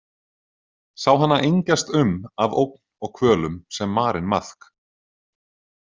Sá hana engjast um af ógn og kvölum sem marinn maðk.